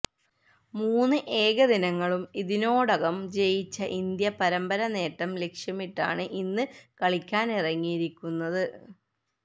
മൂന്ന് ഏകദിനങ്ങളും ഇതിനോടകം ജയിച്ച ഇന്ത്യ പരമ്പര നേട്ടം ലക്ഷ്യമിട്ടാണ് ഇന്ന് കളിക്കാനിറങ്ങിയിരിക്കുന്നത്